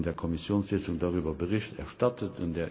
Er hat heute in der Kommissionssitzung darüber Bericht erstattet.